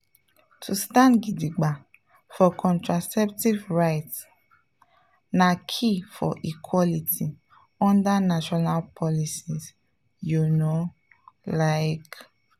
to stand gidigba for contraceptive rights na key for equality under national policies you know… like.